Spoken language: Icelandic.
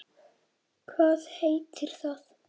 Hvað heitir það?